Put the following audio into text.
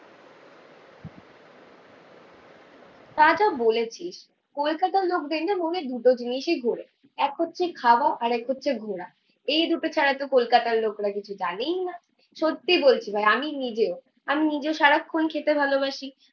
তা যা বলেছিস। কলকাতার লোক দেখলে মনে দুটো জিনিসই ঘোরে এক হচ্ছে খাওয়া আর এক হচ্ছে ঘোরা, এই দুটো ছাড়াতো কলকাতার লোকরাতো কিছু জানেই না। সত্যি বলছি ভাই আমি নিজে, আমি নিজেও সারাক্ষন খেতে ভালোবাসি